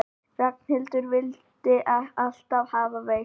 Ragnhildur vildi alltaf hafa kveikt.